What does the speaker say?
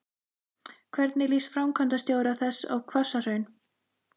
Hvernig líst framkvæmdastjóra þess á Hvassahraun?